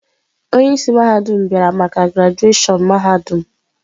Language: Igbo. Onye isi mahadum bịara maka grajushon mahadum.